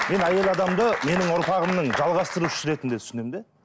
мен әйел адамды менің ұрпағымның жалғастырушысы ретінде түсінемін де